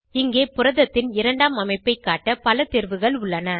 இங்கே புரதத்தின் இரண்டாம் அமைப்பை காட்ட பல தேர்வுகள் உள்ளன